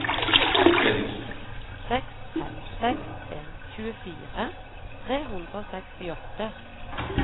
seks fem seks en tjuefire tre hundre og sekstiåtte